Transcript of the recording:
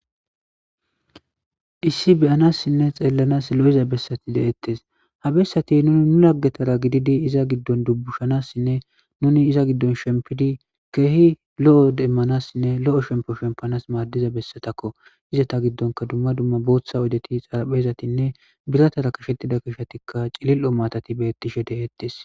Issi be7anassinne xeellanas lo7iza bessati deettes ha bessati nuni nu laggetara gididi iza giddon dubbushanassinne nuni iza giddon shempidi keehi lo7o demmanassinne lo7o shempo shempanas maaddiza bessatakko izeta giddonka dumma dumma booththa oydeti xaraphezatinne biratara qashettida qashetikka cilil7o maatati beettishe de7ettes.